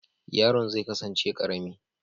Yaron zai kasance karami